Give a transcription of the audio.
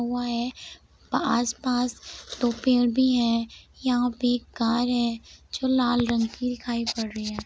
कुआं है आस पास दो पेड़ भी है यहाँ पे एक कार है जो लाल रंग की दिखाई पड़ रही है।